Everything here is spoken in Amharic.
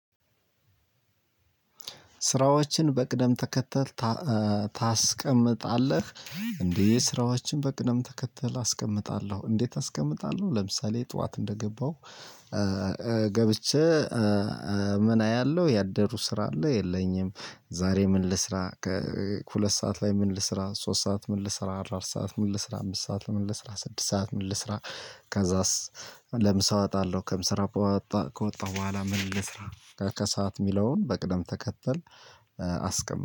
"ስራዎችህን በቅደም ተከተል ታ ታስቀምጣለህ?" እንዴ ስራዎችን በቅደም ተከተል አስቀምጣለሁ። "እንዴት አስቀምጣለሁ?" ለምሳሌ ጠዋት እንደገባሁ ገብቼ ምን አያለሁ ያደሩ ስራ አለ የለኝም? ዛሬ ምን ልስራ? ከሁለት ሰዓት ላይ ምን ልስራ? ሶስት ሰዓት ምን ልስራ? አራት ሰዓት ምን ልስራ? አምስት ሰዓት ምን ልስራ? ስድስት ሰዓት ምን ልስራ? ከዛስ ለምሳ እወጣለሁ። ከምስራ ከውጣ ከወጣሁ በኋላ ምን ልስራ? ከሰአት የሚለውን በቅደም ተከተል አስቀም